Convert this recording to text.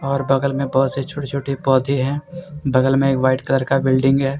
और बगल में बहोत से छोटे-छोटे पौधे हैं बगल में एक वाइट कलर का बिल्डिंग है।